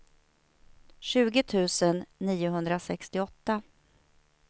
tjugo tusen niohundrasextioåtta